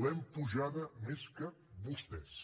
l’hem apujada més que vostès